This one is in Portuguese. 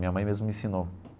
Minha mãe mesmo me ensinou.